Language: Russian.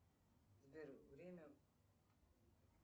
сбер время